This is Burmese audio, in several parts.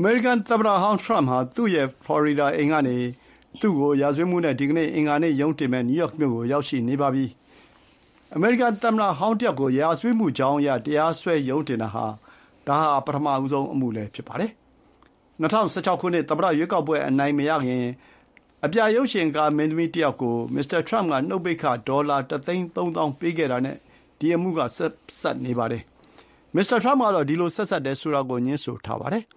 အမေရိကန်သမ္မတဟောင်းထရမ့်ဟာ သူ့ရဲ့ဖလော်ရီဒါအိမ်ကနေ သူ့ကို ရာဇဝတ်မှုနဲ့ ဒီကနေ့ အင်္ဂါနေ့ရုံးတင်မယ့် နယူးယောက်မြို့ကို ရောက်ရှိနေပါပြီ။ အမေရိကန်သမ္မတဟောင်းတယောက်ကို ရာဇဝတ်မှုကြောင်းအရ တရားစွဲရုံးတင်တာ ဒါဟာ ပထမဆုံးအမှုလည်းဖြစ်ပါတယ်။ ၂၀၁၆ ခုနှစ် သမ္မတရွေးကောက်ပွဲအနိုင်မရခင် အပြာရုပ်ရှင်မင်းသမီးတယောက်ကို မစ္စတာထရမ့်က နှုတ်ပိတ်ခ ဒေါ်လာ ၁ သိန်း ၃ သောင်းပေးခဲ့တာနဲ့ ဒီ အမှုက ပတ်သက်နေပါတယ်။ မစ္စတာထရမ့်ကတော့ ဒီလို ဆက်စပ်တယ်ဆိုတာကို ငြင်းဆိုထားပါတယ်။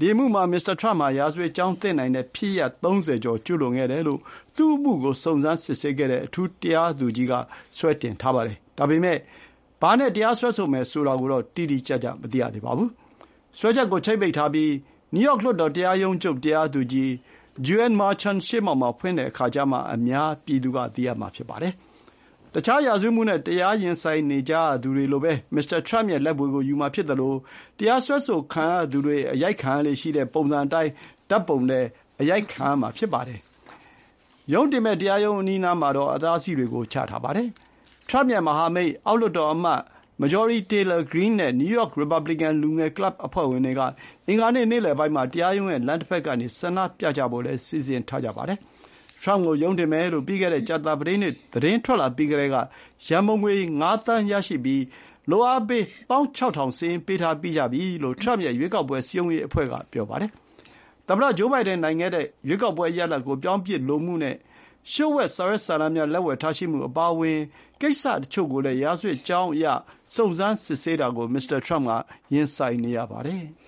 ဒီအမှုမှာ မစ္စတာထရမ့်ဟာ ရာဇဝတ်ကြောင်းသင့်နိုင်တဲ့ဖြစ်ရပ် ၃၀ ကျော်ကျူးလွန်ခဲ့တယ်လို့ သူ့အမှုကို စုံစမ်းစစ်ဆေးခဲ့တဲ့ အထူးတရားသူကြီးက စွဲတင်ထားပါတယ်။ ဒါပေမဲ့ ဘာနဲ့စွဲဆိုမယ်ဆိုတာကိုတော့ တိတိကျကျမသိရသေးပါဘူး။ စွဲချက်ကို ချိတ်ပိတ်ထားပြီး နယူးယောက်လွှတ်တော်တရားရုံးချုပ် တရားသူကြီး Juan Merchan ရှေ့မှောက်မှာ ဖွင့်တဲ့အခါကျမှ အများပြည်သူ သိရမှာ ဖြစ်ပါတယ်။ တခြားရာဇဝတ်မှုနဲ့ တရားရင်ဆိုင်ကြရသူတွေလိုပဲ မစ္စတာထရမ့်ရဲ့လက်ဗွေကို ယူမှာဖြစ်သလို တရားစွဲဆိုခံရသူတွေ အရိုက်ခံရလေ့ရှိတဲ့ပုံစံအတိုင်း ဓာတ်ပုံလည်းအရိုက်ခံရမှာ ဖြစ်ပါတယ်။ ရုံးတင်မယ့် တရားရုံးအနီးအနားမှာ အတားအဆီးတွေ ချထားပါတယ်။ ထရမ့်ရဲ့ မဟာမိတ်၊ အောက်လွှတ်တော်အမတ် Marjorie Taylor Greene နဲ့ နယူးယောက် ရီပါဘလီကန် လူငယ်ကလပ်အဖွဲ့ဝင်တွေက အင်္ဂါနေ့နေ့လယ်ပိုင်းမှာ တရားရုံးရဲ့ လမ်းတဘက်ကနေ ဆန္ဒပြကြဖို့လည်း စီစဉ်ထားကြပါတယ်။ ထရမ့်ကိုရုံးတင်မယ်လို့ ပြီးခဲ့တဲ့ ကြာသပတေးနေ့ သတင်းထွက်လာပြီးကတည်းက ရံပုံငွေ ၅ သန်း ရရှိပြီး လုပ်အားပေး ၁၆,၀၀၀ စာရင်းပေးထားပြီးကြပြီလို့ ထရမ့်ရဲ့ရွေးကောက်ပွဲစည်းရုံးရေးအဖွဲ့က ပြောပါတယ်။ သမ္မတဂျိုးဘိုင်ဒန်နိုင်ခဲ့တဲ့ ရွေးကောက်ပွဲရလာဒ်ကို ပြောင်းပစ်လိုမှုနဲ့ လျှို့ဝှက်စာရွက်စာတမ်းများ လက်ဝယ်ထားရှိမှုအပါအဝင် ကိစ္စတချို့ကိုလည်း ရာဇဝတ်ကြောင်းအရ စုံစမ်းစစ်ဆေးတာကို မစ္စတာထရမ့် ရင်ဆိုင်နေရပါတယ်။